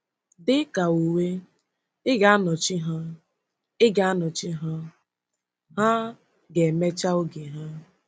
Dị ka uwe, ị ga-anọchi ha, ị ga-anọchi ha, ha ga-emecha oge ha.